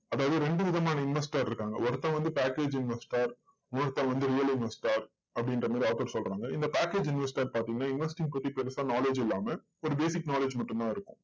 அதாவது ரெண்டு விதமான investor இருக்காங்க. ஒருத்தன் வந்து package investor ஒருத்தன் வந்து real investor அப்படின்ற மாதிரி author சொல்றாங்க. இந்த package investor பார்த்தீங்கன்னா, investing பத்தி பெருசா knowledge இல்லாம ஒரு basic knowledge மட்டும் தான் இருக்கும்.